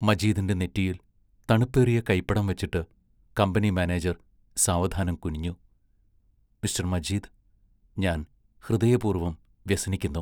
മജീദിന്റെ നെറ്റിയിൽ തണുപ്പേറിയ കൈപ്പടം വച്ചിട്ട് കമ്പനി മാനേജർ സാവധാനം കുനിഞ്ഞു: മിസ്റ്റർ മജീദ്, ഞാൻ ഹൃദയപൂർവം വ്യസനിക്കുന്നു.